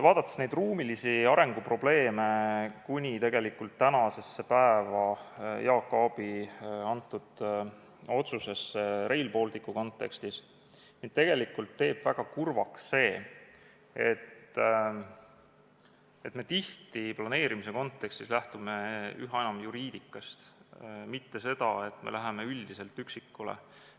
... ja neid ruumilise arengu probleeme kuni tegelikult tänasesse päeva välja, vaadates Jaak Aabi otsust Rail Balticu kontekstis, teeb mind väga kurvaks see, et me tihti planeerimise kontekstis lähtume üha enam juriidikast, me ei lähe üldiselt üksikule.